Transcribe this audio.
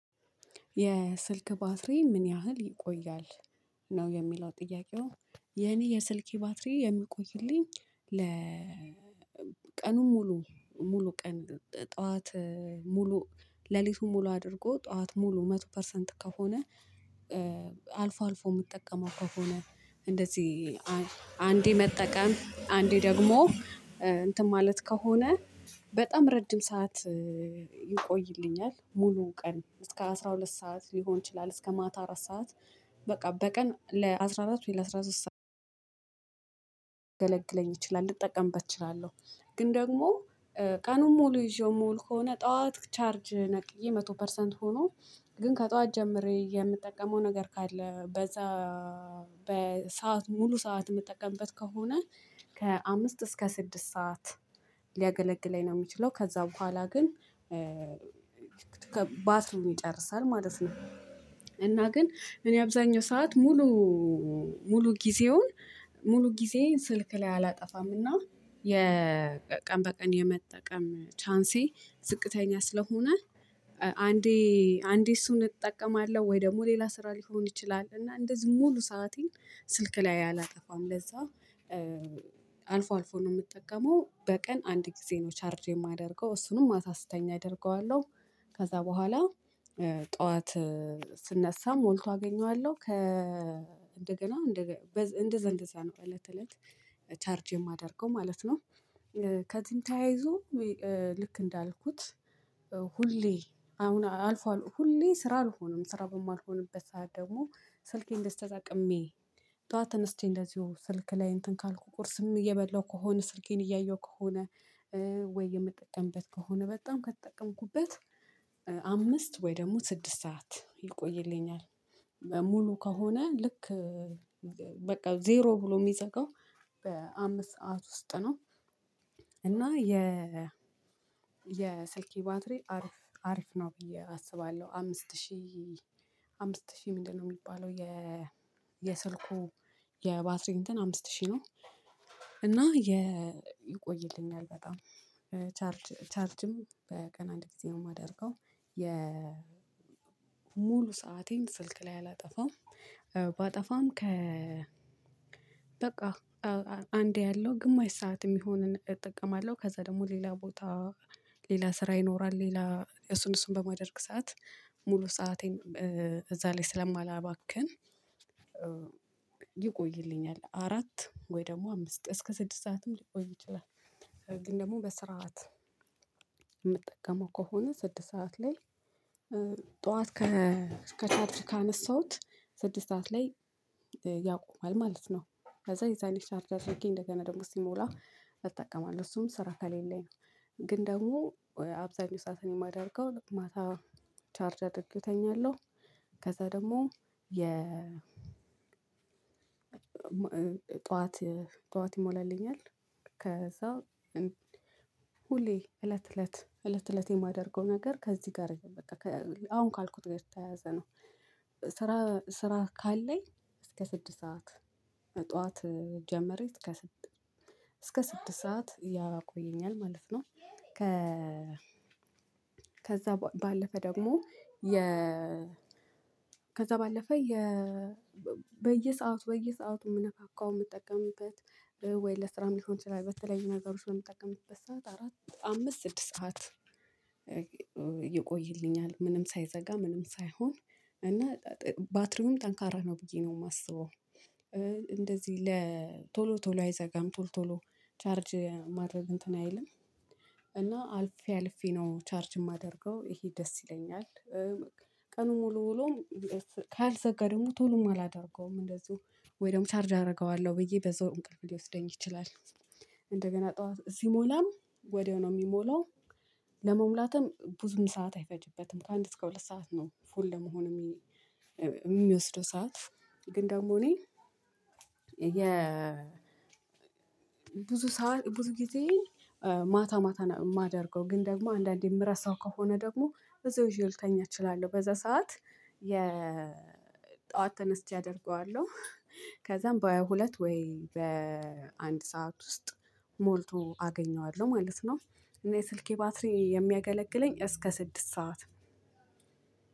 የስልክ ባትሪ ምን ያህል ይቆያል? ነው የሚለው ጥያቄው የኔ የስልኬ ባትሪ የሚቆይልኝ ለ ቀኑን ሙሉ ሙሉ ቀን ጠዋት ሙሉ ሌሊቱን ሙሉ አድርጎ ጠዋት ሙሉ መቶ ፐርሰንት ከሆነ አልፎ አልፎ የምጠቀመው ከሆነ እንደዚህ አንዴ መጠቀም አንዴ ደግሞ እንትን ማለት ከሆነ በጣም ረጅም ሰዓት ይቆይልኛል ሙሉ ቀን እስከ አስራ ሁለት ሰዓት ሊሆን ይችላል እስከ ማታ አራት ሰዓት በቃ በቀን ለአስራ አራት ወይ ለአስራ ሊያገለግለኝ ይችላል፣ ልጠቀምበት እችላለሁ፣ ግን ደግሞ፣ ቀኑን ሙሉ ይዤው ምውል ከሆነ ጠዋት ቻርጅ ነቅዬ መቶ ፐርሰንት ሆኖ ግን ከጠዋት ጀምሬ የምጠቀመው ነገር ካለ፣ በዛ በሰአት ሙሉ ሰዓት የምጠቀምበት ከሆነ ከአምስት እስከ ስድስት ሰዓት ሊያገለግለኝ ነው የሚችለው። ከዛ በኋላ ግን ባትሪዉን ይጨርሳል ማለት ነው። እና ግን እኔ አብዛኛው ሰዓት ሙሉ ሙሉ ጊዜውን ሙሉ ጊዜ ስልክ ላይ አላጠፋምና የቀን በቀን የመጠቀም ቻንሴ ዝቅተኛ ስለሆነ አንዴ አንዴ እሱን እጠቀማለሁ ወይ ደግሞ ሌላ ስራ ሊሆን ይችላል እና እንደዚህ ሙሉ ሰአቴን ስልክ ላይ አላጠፋም። ለዛ አልፎ አልፎ ነው የምጠቀመው በቀን አንድ ጊዜ ነው ቻርጅ የማደርገው እሱንም ማታ ስተኛ አደርገዋለሁ፣ ከዛ በኋላ ጠዋት ስነሳ ሞልቶ አገኘዋለሁ ከ እንደገና እንደዛ እንደዛ ነው ከእለት ተ እለት ቻርጅ የማደርገው ማለት ነው። ከዚህም ተያይዞ ልክ እንዳልኩት ሁሌ አሁን አልፏል፣ ሁሌ ስራ አልሆነም፣ ስራ በማልሆንበት ሰዓት ደግሞ ስልኬን እንደዚ ተጠቅሜ ጠዋት ተነስቼ እንደዚሁ ስልክ ላይ እንትን ካልኩ ቁርስም እየበላሁ ከሆነ ስልኬን እያየሁ ከሆነ ወይ የምጠቀምበት ከሆነ በጣም ከተጠቀምኩበት አምስት ወይ ደግሞ ስድስት ሰዓት ይቆይልኛል። ሙሉ ከሆነ ልክ በቃ ዜሮ ብሎ የሚዘጋው በአምስት ሰዓት ውስጥ ነው። እና የ የስልኬ ባትሪ አሪፍ አሪፍ ነው ብዬ አስባለሁ፣ አምስት ሺህ አምስት ሺህ ምንድነው የሚባለው የስልኩ የባትሪ እንትን አምስት ሺህ ነው እና ይቆይልኛል በጣም ቻርጅ ቻርጅም በቀን አንድ ጊዜ ነው የማደርገው የ ሙሉ ሰአቴን ስልክ ላይ አላጠፋም ባጠፋም ከ በቃ አንዴ አያለው ግማሽ ሰዓትም የሚሆንን እጠቀማለሁ፣ ከዛ ደግሞ ሌላ ቦታ ሌላ ስራ ይኖራል ሌላ እሱን እሱን በማደርግ ሰዓት ሙሉ ሰአቴን እዛ ላይ ስለማላባክን ይቆይልኛል፣ አራት ወይ ደግሞ አምስት እስከ ስድስት ሰዓትም ሊቆይ ይችላል ግን ደግሞ በስርዓት የምጠቀመው ከሆነ ስድስት ሰዓት ላይ ጠዋት ከቻሪጅ ካነሳሁት ስድስት ሰዓት ላይ ያቆማል ማለት ነው ከዛ የዛኔ ቻርጅ አድርጌ እንደገና ደግሞ ሲሞላ እጠቀማለሁ። እሱም ስራ ከሌለኝ ነው ግን ደግሞ አብዛው ሰአቴን የማደርገው ማታ ቻርጅ አድርጌው ተኛለሁ ከዛ ደግሞ የ ጠዋት ጠዋት ይሞላልኛል ከዛ ሁሌ እለት እለት እለት እለት እለት የማደርገው ነገር ከዚህ ጋር በቃ አሁን ካልኩት ጋር የተያያዘ ነው ስራ ካለኝ እስከ ስድስት ሰዓት ጠዋት ጀመረች እስከ ስድስት እስከ ስድስት ሰዓት ያቆየኛል ማለት ነው። ከ ከዛ ባለፈ ደግሞ የ ከዛ ባለፈ የ በየሰአቱ በየሰአቱ የምነካካው የምጠቀምበት ወይ ለስራም ሊሆን ይችላል፣ በተለያዩ ነገሮች በመጠቀምበት ሰዓት አራት አምስት ስድስት ሰዓት ይቆይልኛል ምንም ሳይዘጋ ምንም ሳይሆን እና ባትሪውም ጠንካራ ነው ብዬ ነው የማስበው፣ እንደዚህ ለ ቶሎ ቶሎ አይዘጋም፣ ቶሎ ቶሎ ቻርጅ ማድረግ እንትን አይልም እና አልፌ አልፌ ነው ቻርጅ የማደርገው። ይሄ ደስ ይለኛል ቀኑን ሙሉ ውሎም ካልዘጋ ቶሎም አላደርገውም እንደዚሁ ወይ ደግሞ ቻርጅ አርገዋለሁ ብዬ በዛው እንቅልፍ ሊወስደኝ ይችላል፣ እንደገና ጠዋት ሲሞላም ወዲያው ነው ሚሞላው። ለመሙላትም ብዙም ሰዓት አይፈጅበትም፣ ከአንድ እስከ ሁለት ሰዓት ነው ፉል ለመሆን የሚ የሚወስደው ሰዓት፣ ግን ደግሞ እኔ የ ብዙ ሰዓት ብዙ ጊዜ ማታ ማታ ነው የማደርገው ግን ደግሞ አንዳንዴ የምረሳው ከሆነ ደግሞ ብዛው ይዜው ልተኛ እችላለሁ፣ በዛ ሰዓት የጧት ተነስቼ አደርገዋለሁ ከዛ በሃያ ሁለት ወይ በአንድ ሰዓት ውስጥ ሞልቶ አገኘዋለሁ ማለት ነው እና የ ስልኬ ባትሪ የሚያገለግለኝ እስከ ስድስት ሰዓት